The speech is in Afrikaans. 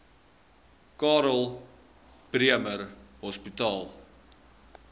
karl bremer hospitaal